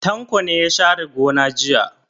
Tanko ne ya share gona jiya.